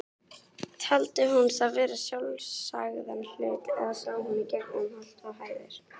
Taldi hún það vera sjálfsagðan hlut, eða sá hún í gegnum holt og hæðir?